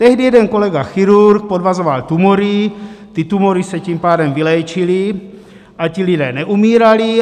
Tehdy jeden kolega chirurg podvazoval tumory, ty tumory se tím pádem vyléčily a ti lidé neumírali.